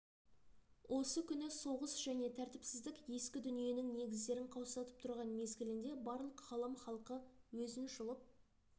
осы күні соғыс және тәртіпсіздік ескі дүниенің негіздерін қаусатып тұрған мезгілінде барлық ғалам халқы өзін жұлып